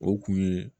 O kun ye